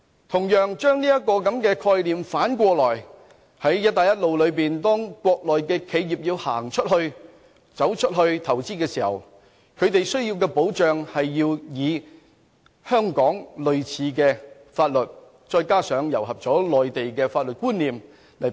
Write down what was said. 同樣，我們可以把這個概念反過來，在"一帶一路"下國內企業要走出去投資時，它們同樣需要類似香港法律再加上內地法律觀念的保障。